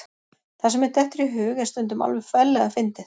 Það sem mér dettur í hug er stundum alveg ferlega fyndið.